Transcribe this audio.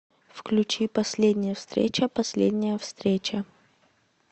включи последняя встреча последняя встреча